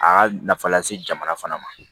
A y'a nafa lase jamana fana ma